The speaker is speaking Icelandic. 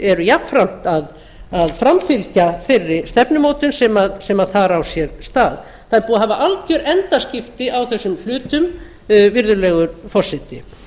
eru jafnframt að framfylgja þeirri stefnumótun sem þar á sér stað það er búið að hafa alger endaskipti á þessum hlutum virðulegi forseti